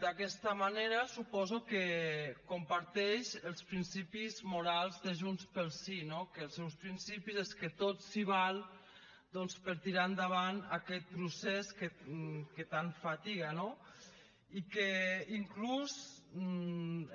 d’aquesta manera suposo que comparteix els principis morals de junts pel sí no que els seus principis és que tot s’hi val doncs per tirar endavant aquest procés que tant fatiga no i que inclús